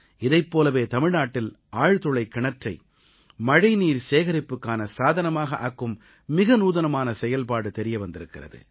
இதைப் போலவே தமிழ்நாட்டில் ஆழ்துளைக் கிணற்றை மழைநீர் சேகரிப்புக்கான சாதனமாக ஆக்கும் மிக நூதனமான செயல்பாடு தெரிய வந்திருக்கிறது